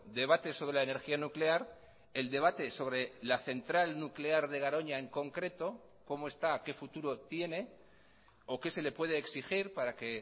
debate sobre la energía nuclear el debate sobre la central nuclear de garoña en concreto como está qué futuro tiene o que se le puede exigir para que